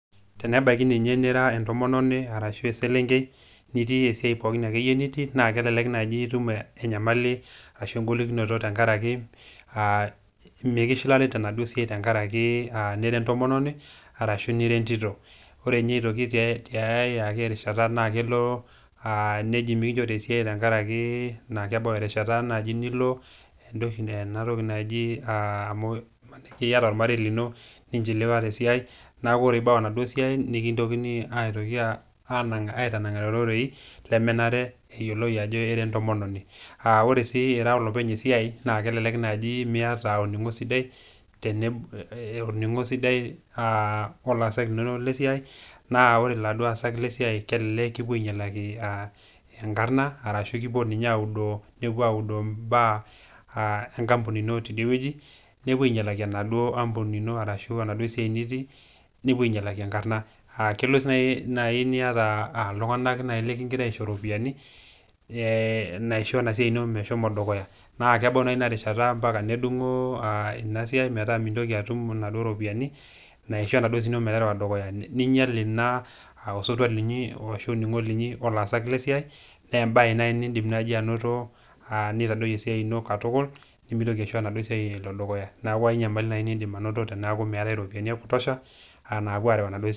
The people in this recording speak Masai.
Tenebaiki ninye nira entomononi arashu eselenkei nitiia esiai pooki ake iyie nitii naa kelelek naaji itum enyamali ashu engolikinoto tenkaraki mekishilari tenaduo siai tenkaraki ira entomononi arashu nira entito. Ore ninye aitoki ake tiai rishata naa kelo neji mekinchori esiai tenkaraki ebau erishata naji ilo ena toki naji iata olmarei lino, nincheluwa te esiai , neaku ore pee ibau enaduo siai nikilikini aitoki aitanang'are irorei lemenare neyioulou ajo ira entomononi. Ore sii ira olopeny esiai, naa kelelek naaji miata olning'o sidai o laasak linono lesiai, naa ore laduo aasak lesiai kelelek kipuo ainyalaki enkarna, ashu kepuo dii ninye audoo imbaa enkampuni ino teidie wueji, nepuo ainyalaki enaduo ampuni ino ashu enaduo siai nitii, nepuo ainyalaki enkarna. Keleleku naaji iata iltung'ana leking'ira aisho iropiani naisho ena siai ino meshomo dukuya, naa kebau naa Ina rishata ombaka nedung'o Ina siai metaa mintoki atum inaduo ropiani naisho enaduo siai ino meterewa dukuya, neinyal Ina osotua linyi ashu osotua linyi o laasak le siai, naa embae naji niindim ainoto neitadoiyo esiai ino katukul, nemeitoki aisho enaduo siai ino elo dukuya, neaku enyamali naaji niindim ainoto teneaku meatai iropiani ya kutosha enapuo areu enaduo siai dukuya.